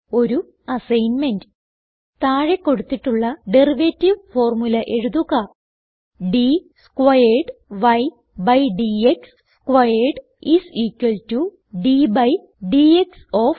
ഒരു അസൈൻമെന്റ് താഴെ കൊടുത്തിട്ടുള്ള ഡെറിവേറ്റീവ് ഫോർമുല എഴുതുക d squared y by d x squared is equal to d by dx of